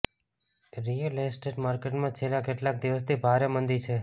real estate માર્કેટમાં છેલ્લા કેટલાક દિવસથી ભારે મંદી છે